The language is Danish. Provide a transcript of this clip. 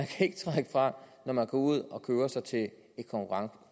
fra når man går ud og køber sig til et